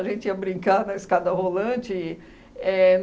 A gente ia brincar na escada rolante. Éh